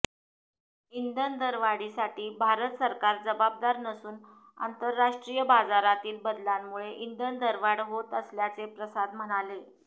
इंधन दरवाढीसाठी भारत सरकार जबाबदार नसून आंतरराष्ट्रीय बाजारातील बदलांमुळे इंधन दरवाढ होत असल्याचे प्रसाद म्हणाले